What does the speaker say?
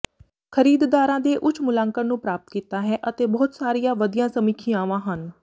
ਖਰੀਦਦਾਰਾਂ ਦੇ ਉੱਚ ਮੁਲਾਂਕਣ ਨੂੰ ਪ੍ਰਾਪਤ ਕੀਤਾ ਹੈ ਅਤੇ ਬਹੁਤ ਸਾਰੀਆਂ ਵਧੀਆ ਸਮੀਖਿਆਵਾਂ ਹਨ